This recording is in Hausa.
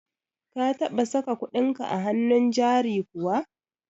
ka taba saka kuɗinka a hannun jari kuwa?